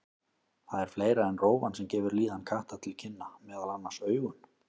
Það er fleira en rófan sem gefur líðan katta til kynna, meðal annars augun.